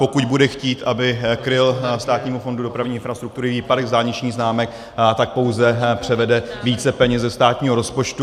Pokud bude chtít, aby kryl Státnímu fondu dopravní infrastruktury výpadek z dálničních známek, tak pouze převede více peněz ze státního rozpočtu.